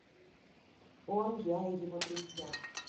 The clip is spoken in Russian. он я и его друзья